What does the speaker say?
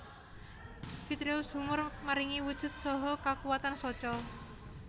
Vitreous humor maringi wujud saha kakuwatan soca